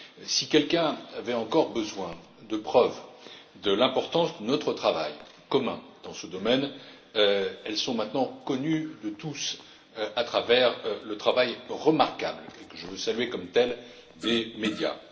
Si quelqu'un avait encore besoin de preuves de l'importance de notre travail commun dans ce domaine, celles ci sont maintenant connues de tous à travers le travail remarquable, et que je veux saluer comme tel, des médias.